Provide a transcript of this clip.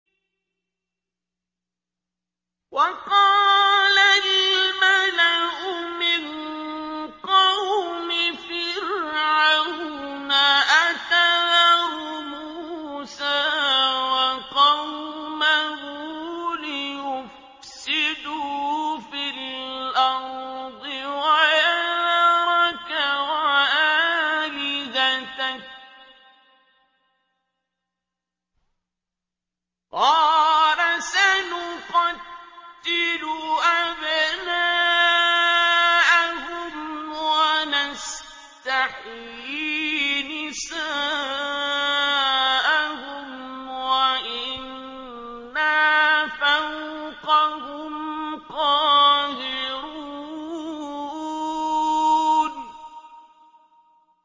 وَقَالَ الْمَلَأُ مِن قَوْمِ فِرْعَوْنَ أَتَذَرُ مُوسَىٰ وَقَوْمَهُ لِيُفْسِدُوا فِي الْأَرْضِ وَيَذَرَكَ وَآلِهَتَكَ ۚ قَالَ سَنُقَتِّلُ أَبْنَاءَهُمْ وَنَسْتَحْيِي نِسَاءَهُمْ وَإِنَّا فَوْقَهُمْ قَاهِرُونَ